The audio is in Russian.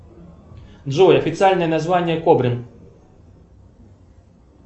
джой официальное название кобрин